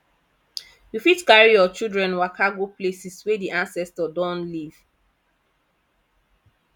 you fit carry your children waka go places wey di ancestor don live